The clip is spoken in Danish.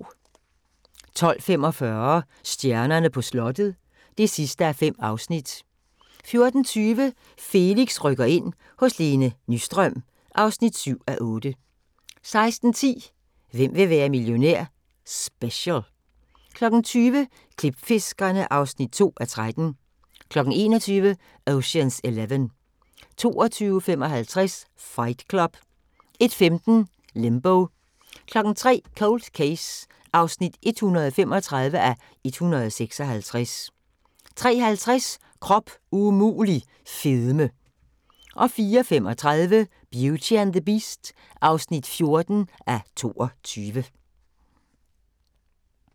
12:45: Stjernerne på slottet (5:5) 14:20: Felix rykker ind – hos Lene Nystrøm (7:8) 16:10: Hvem vil være millionær? Special 20:00: Klipfiskerne (2:13) 21:00: Ocean's Eleven 22:55: Fight Club 01:15: Limbo 03:00: Cold Case (135:156) 03:50: Krop umulig – fedme 04:35: Beauty and the Beast (14:22)